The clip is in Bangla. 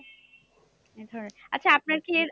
এইধরণের আচ্ছা আপনার কি এর